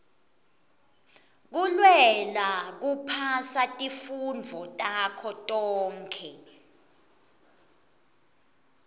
kulwela kuphasa tifundvo takho tonkhe